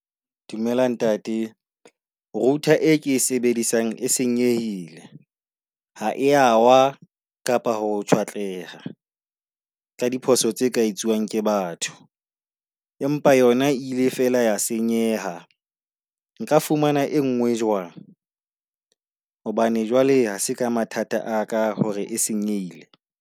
Dumela ntate, router e ke e sebedisang e senyehile. Ha e yawa kapa ho tjhwatleha ka diphoso tse ka etsuwang ke batho batho. Empa yona e ile fela ya senyeha. Nka fumana e nngwe jwang? Hobane jwale ha se ka mathata a ka hore e senyehile?